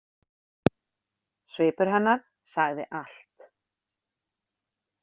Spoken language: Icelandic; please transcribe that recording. Svipur hennar sagði allt.